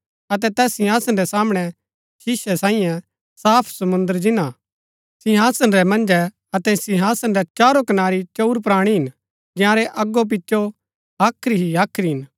अतै तैस सिंहासन रै सामणै शीसै सांईये साफ समुंद्र जिन्‍ना हा सिंहासन रै मन्जै अतै सिंहासन रै चारो कनारी चंऊर प्राणी हिन जंयारै अगो पिचो हाख्री ही हाख्री हिन